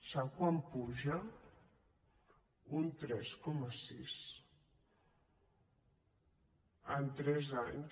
sap quant puja un tres coma sis en tres anys